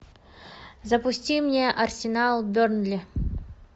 запусти мне арсенал бернли